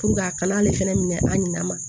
a kana ale fɛnɛ minɛ a ɲina